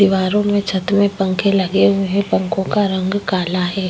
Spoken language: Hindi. दीवारों में छत में पंखे लगे हुए हैं। पंखों का रंग काला है।